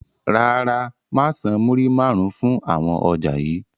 Rárá, máa san múrí máarun fún àwọn ọjà yii.